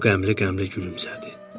O qəmlə-qəmlə gülümsədi.